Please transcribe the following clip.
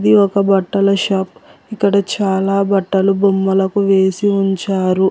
ఇది ఒక బట్టల షాప్ ఎక్కడ చాలా బట్టలు బొమ్మలకు వేసి ఉంచారు.